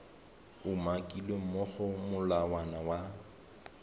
umakilweng mo go molawana wa